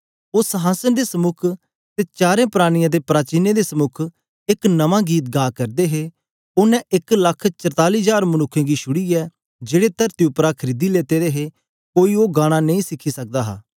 ओ संहासन दे समुक ते चारें प्राणियें ते प्राचीनें दे समुक एक नमां गीत गा करदे हे ओनें एक लख चरताली जार मनुक्खें गी छुड़ीयै जेड़े तरती उपरा खरीदी लेते दे हे कोई ओ गाना नेई सीखी सकदा हा